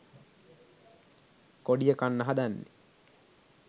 කොඩිය කන්න හදන්නෙ?